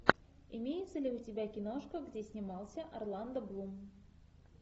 имеется ли у тебя киношка где снимался орландо блум